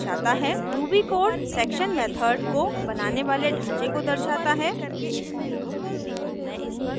ruby code section method को बनाने वाले ढाँचे को दर्शाता है